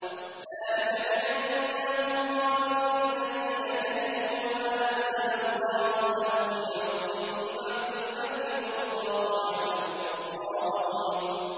ذَٰلِكَ بِأَنَّهُمْ قَالُوا لِلَّذِينَ كَرِهُوا مَا نَزَّلَ اللَّهُ سَنُطِيعُكُمْ فِي بَعْضِ الْأَمْرِ ۖ وَاللَّهُ يَعْلَمُ إِسْرَارَهُمْ